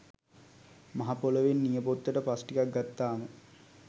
මහ පොළොවෙන් නියපොත්තට පස් ටිකක් ගත්තාම